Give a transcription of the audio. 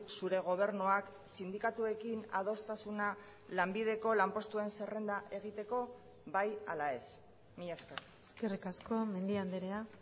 zure gobernuak sindikatuekin adostasuna lanbideko lanpostuen zerrenda egiteko bai ala ez mila esker eskerrik asko mendia andrea